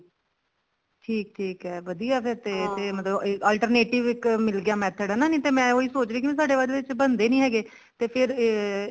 ਠੀਕ ਠੀਕ ਹੈ ਵਧੀਆ ਫ਼ੇਰ ਤੇ ਮਤਲਬ alternative ਇੱਕ ਮਿਲ ਗਿਆ ਨਹੀਂ ਤੇ ਮੈਂ ਉਹੀ ਸੋਚ ਰਹੀ ਸੀ ਸਾਡੇ ਬਾਅਦ ਵਿੱਚ ਬਣਦੇ ਨੀ ਹੈਗੇ ਤੇ ਫ਼ੇਰ ਅਹ